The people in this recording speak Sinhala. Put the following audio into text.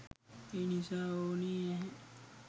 ඒ නිසා ඕනේ නැහැ.